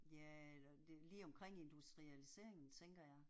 Ja eller lige omkring industrialiseringen tænker jeg